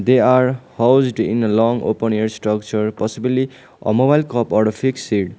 they are housed in a long open air structure possibly a mobile or a fix .